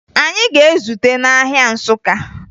Anyị ga-ezute n'ahịa Nsụka